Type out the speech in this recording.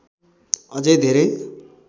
अझै धेरै